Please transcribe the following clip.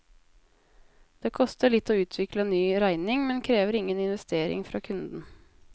Det koster litt å utvikle en ny regning, men krever ingen investering fra kunden.